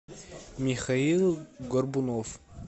михаил горбунов